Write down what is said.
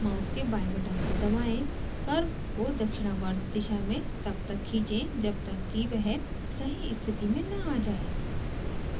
mouse के बाएं button को दबाएं curve को दक्षिणावर्त दिशा में तब तक खींचें जब तक कि वह सही स्थिति में न a जाये